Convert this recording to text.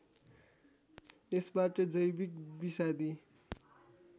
यसबाट जैविक विषादी